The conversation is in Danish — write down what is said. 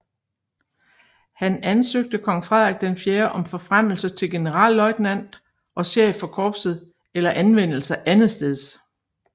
Han ansøgte kong Frederik IV om forfremmelse til generalløjtnant og chef for korpset eller anvendelse andetsteds